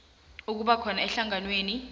ukuba khona emhlanganweni